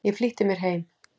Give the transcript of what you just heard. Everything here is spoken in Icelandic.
Ég flýtti mér heim.